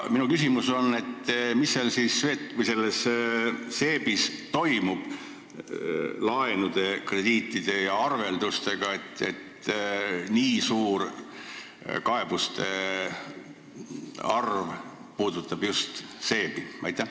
Mis seal SEB-is siis toimub laenude, krediitide ja arveldustega, et nii suur kaebuste arv puudutab just SEB-i.